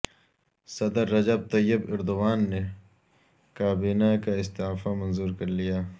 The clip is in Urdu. صدر رجب طیب ایردوان نے کابینہ کا استعفی منظور کر لیا